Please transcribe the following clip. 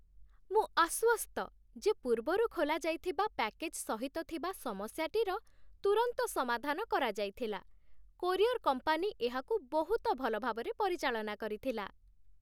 ମୁଁ ଆଶ୍ୱସ୍ତ ଯେ ପୂର୍ବରୁ ଖୋଲାଯାଇଥିବା ପ୍ୟାକେଜ୍ ସହିତ ଥିବା ସମସ୍ୟାଟିର ତୁରନ୍ତ ସମାଧାନ କରାଯାଇଥିଲା କୋରିଅର୍ କମ୍ପାନୀ ଏହାକୁ ବହୁତ ଭଲ ଭାବରେ ପରିଚାଳନା କରିଥିଲା।